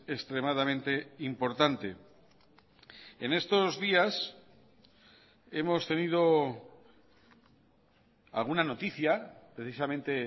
extremadamente importante en estos días hemos tenido alguna noticia precisamente